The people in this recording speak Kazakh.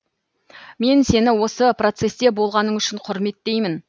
мен сені осы процессте болғаның үшін құрметтеймін